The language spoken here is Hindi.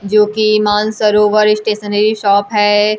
जो की मानसरोवर स्टेशनरी शॉप है।